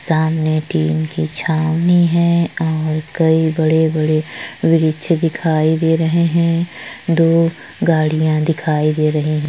सामने टीन की छावनी हैऔर कई बड़े बड़े वृक्ष दिखाई दे रहे है दो गड़िया दिखाई दे रही है।